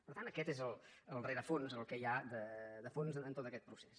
per tant aquest és el rerefons el que hi ha de fons en tot aquest procés